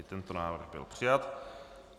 I tento návrh byl přijat.